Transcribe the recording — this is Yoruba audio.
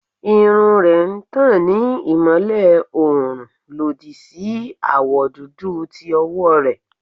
Irun rẹ n tan ni imọlẹ oorun lodi si awọ dudu ti ọwọ rẹ